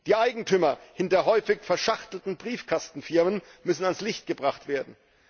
Die Eigentümer hinter häufig verschachtelten Briefkastenfirmen müssen ans Licht gebracht werden.